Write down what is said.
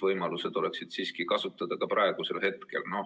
võimalused oleksid siiski ka praegu kasutusel.